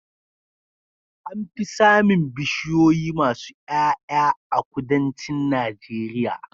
Anfi samin bishiyoyi masu Y'ay'a a kudancin najeria